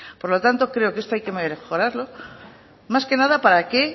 por lo tanto creo que esto hay que mejorarlo más que nada para que